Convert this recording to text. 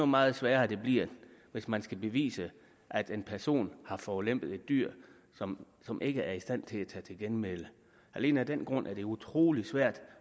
meget sværere det bliver hvis man skal bevise at en person har forulempet et dyr som som ikke er i stand til at tage til genmæle alene af den grund er det utrolig svært